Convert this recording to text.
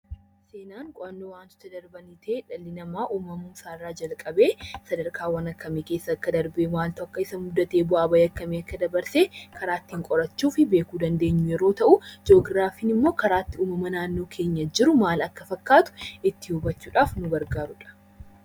Seenaan qo'annoo wantoota darbanii ta'ee dhalli namaa uumamuu isaa irraa jalqabee sadarkaawwan akkamii keessa akka darbe, maaltu akka isa mudate, bu'aa ba'ii akkamii akka dabarse karaa ittiin qorachuu fi beekuu dandeenyu yeroo ta'uu; Ji'ograafiin immoo karaa itti uumama naannoo keenyaa jiru maal akka fakkaatu ittiin hubachuu dhaaf nu gargaaru dha.